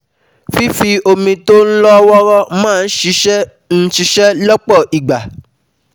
Fífi omi tó lọ́ wọ́ọ́rọ́ máa ń ṣiṣẹ́ ń ṣiṣẹ́ lọ́pọ̀ ìgbà